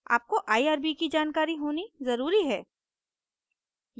आपको irb की जानकारी होना ज़रूरी है